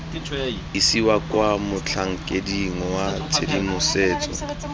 isiwa kwa motlhankeding wa tshedimosetso